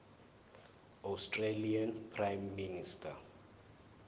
australian prime minister